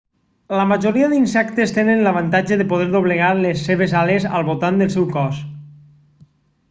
la majoria dels insectes tenen l'avantatge de poder doblegar les seves ales al voltant del seu cos